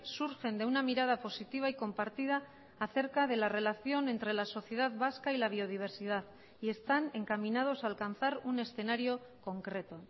surgen de una mirada positiva y compartida acerca de la relación entre la sociedad vasca y la biodiversidad y están encaminados a alcanzar un escenario concreto